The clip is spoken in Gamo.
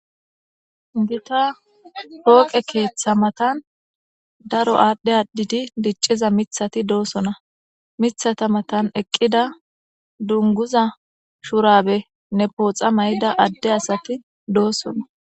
gita pooqe keeththa matan daro aadhdhe addidi dicciza mithati doosona mithata matan eqqida dunguza shurabe ne pooxa may7ida adde asati doosona